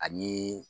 Ani